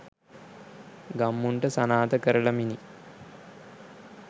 ගම්මුන්ට සනාථ කරලමිනි